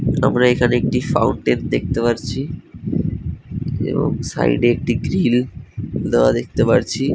আমরা এখানে একটি দেখতে পারচ্ছি। এবং সাইডে -এ একটি গ্রিল দেওয়া দেখতে পাচ্ছি ।